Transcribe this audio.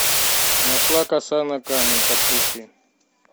нашла коса на камень подключи